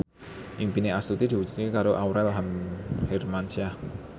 impine Astuti diwujudke karo Aurel Hermansyah